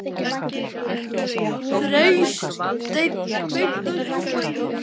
Freysteinn, kveiktu á sjónvarpinu.